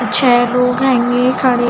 अच्छा है लोग आएगे खड़े --